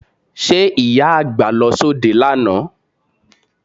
Ṣe Ìyá àgbà lọ sóde lánàá?